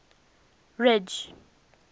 ridge